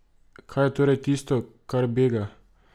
Kaj je torej tisto, kar bega?